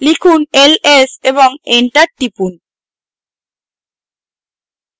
লিখুন ls এবং enter টিপুন